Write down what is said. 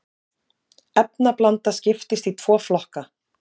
efnablanda skiptist í tvo flokka